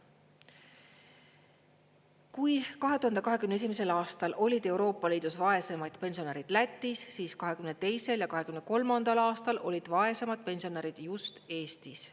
Kui 2021. aastal olid Euroopa Liidus vaeseimaid pensionärid Lätis, siis 2022. ja 2023. aastal olid vaesemad pensionärid just Eestis.